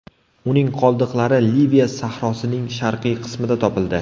Uning qoldiqlari Liviya sahrosining sharqiy qismida topildi.